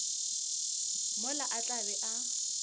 mola a tla be a